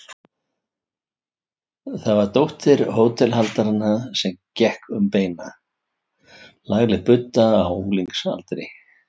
Það var dóttir hótelhaldaranna sem gekk um beina, lagleg budda á unglingsaldri.